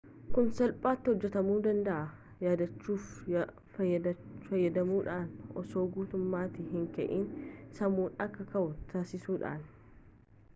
kun salphaati hojaatamu danda'aa yaadachiftuu fayyadamuudhaan osoo guutummatti hin ka'iin sammuun akka ka'uu taasisuudhaan